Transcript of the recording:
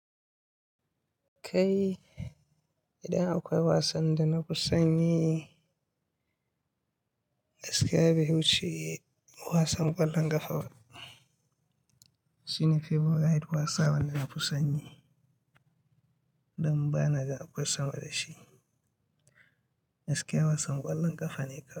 Kai idan akwai wasan da na fi son yi, gsky bai wuce wasan ƙwallon ƙafa ba. Shine favorite wasa wanda na fi son yi don ba na ganin akwai sama da shi. Gsky wasan ƙwallon ƙafa ne kawai.